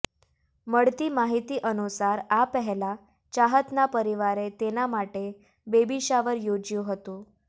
મળતી માહિતી અનુસાર આ પહેલાં ચાહતના પરિવારે તેના માટે બેબી શાવર યોજ્યું હતું